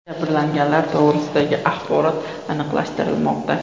Jabrlanganlar to‘g‘risidagi axborot aniqlashtirilmoqda.